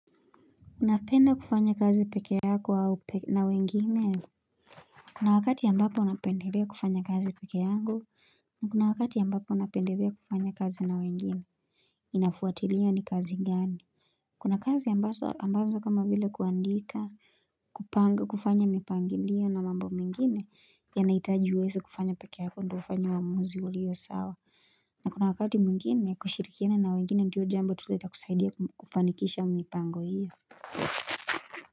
Unapenda kufanya kazi pekee yako au na wengine? Kuna wakati mbapo napendelea kufanya kazi peke yangu, kuna wakati ambapo napendelea kufanya kazi na wengine Inafuwatiliya ni kazi gani Kuna kazi ambazo ambavyo kama vile kuandika kupanga kufanya mipangiliyo na mambo mengine yanahitaji uweze kufanya peke yako ndo ufanye uamuzi ulio sawa na kuna wakati mwingine kushirikiana na wengine ndio jambo tu itakusaidia kufanikisha mipango hiyo.